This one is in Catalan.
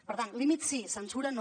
per tant límits sí censura no